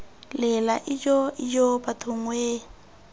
lela ijoo ijoo bathong wee